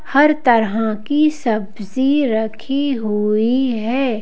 हर तरह की सब्जी रखी हुई है।